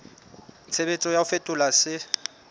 tshebetso ya ho fetola se